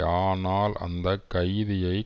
ஆனால் அந்த கைதியை